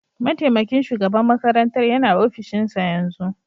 Mataimakin shugaban makarantar yana ofishinsa yanzu